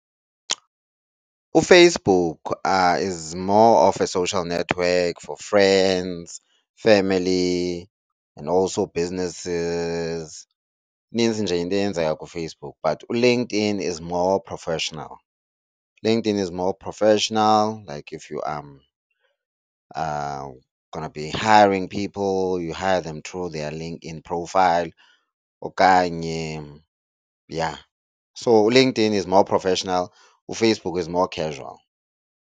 UFacebook is more of a social network for friends, family and also businesses. Inintsi nje into eyenzeka kuFacebook but uLinkedIn is more professional. ULinkedIn is more professional like if you are gonna be hiring people you hire them though their LinkedIn profile okanye yha. So, uLinkedIn is more professional, uFacebook is more casual.